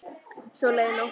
Svo leið nóttin.